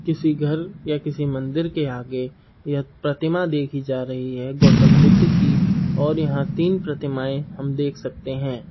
किसी घर या किसी मंदिर के आगे यह प्रतिमा दिखाई जा रही है गौतम बुद्ध की और यह तीन प्रतिमा हम देख सकते हैं।